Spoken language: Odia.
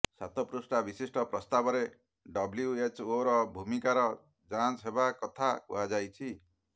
ସାତ ପୃଷ୍ଠା ବିଶିଷ୍ଠ ପ୍ରସ୍ତାବରେ ଡବ୍ଲ୍ୟୁଏଚଓର ଭୂମିକାର ଯାଞ୍ଚ ହେବା କଥା କୁହାଯାଇଛି